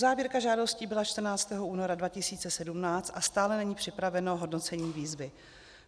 Uzávěrka žádostí byla 14. února 2017 a stále není připraveno hodnocení výzvy.